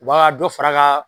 Wa ka dɔ far'a kaa